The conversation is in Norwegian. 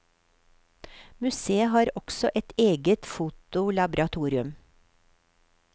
Museet har også et eget fotolaboratorium.